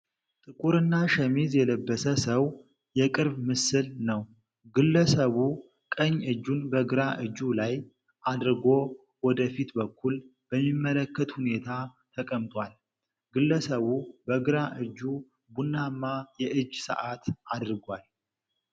ጥቁርና ሸሚዝ የለበሰ ሰው የቅርብ ምስል ነው። ግለሰቡ ቀኝ እጁን በግራ እጁ ላይ አድርጎ፣ ወደ ፊት በኩል በሚመለከት ሁኔታ ተቀምጧል። ግለሰቡ በግራ እጁ ቡናማ የእጅ ሰዓት አድርጓል።